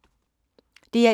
DR1